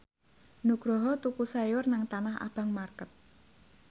Nugroho tuku sayur nang Tanah Abang market